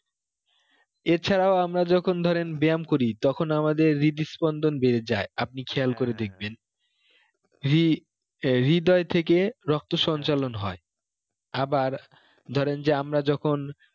এছাড়াও আমরা যখন ধরেন ব্যাম করি তখন আমাদের রিদস্পন্দন বেড়ে যায় আপনি খেয়াল করে দেখবেন রি~ রিদয় থেকে রক্ত সঞ্চালন হয়ে আবার ধরেন যে আমরা যখন